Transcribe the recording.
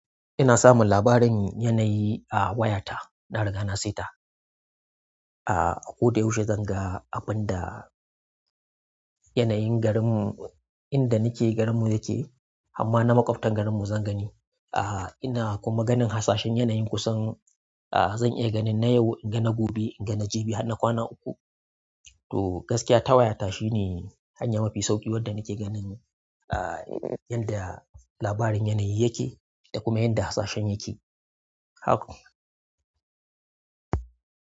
Ina samun labarin yanayi a wayata. Na riga na sai ta. A, a ko da yaushe zan ga abin da yanayin garinmu, inda nake garinmu yake, amma na makautan garinmu zan gani. A ina kuma ganin hasashen yanayin kusan, a zan iya ganin na yau, in ga na gobe, in ga na jibi, har na kwana uku. To gaskiya ta wayata shine hanya mafi sauƙi wadda nake ganin a yanda labarin yanayi yake da kuma yanda hasashen yake. Haka.